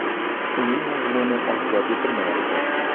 Uning mazmuni oshkor etilmayapti.